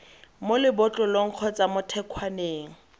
mo lebotlolong kgotsa mo thekgwaneng